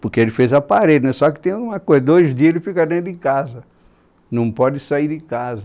Porque ele fez a parede, só que tem uma coisa, dois dias ele fica dentro de casa, não pode sair de casa.